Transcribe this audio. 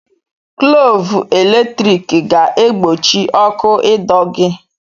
Glọvụ eletrik ga-egbochi ọkụ ịdọ gị.